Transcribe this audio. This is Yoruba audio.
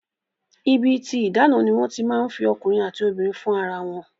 Ibi tí ìdáná ni wọ́n ti máa ń fi ọkùnrin àti obìnrin fún ara wọn